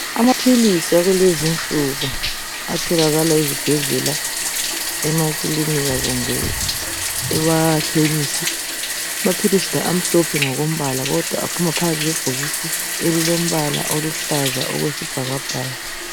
Amaphilisi akulezinsuku, atholakala ezibhedlela, emakilinika loba emakhemisi. Amaphilisi la amhlophe ngokombala kodwa aphuma phakathi kwebhokisi elilombala okuhlaze okwesibhakabhaka.